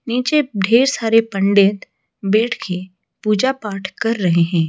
नीचे ढेर सारे पंडित बैठ के पूजा पाठ कर रहे हैं।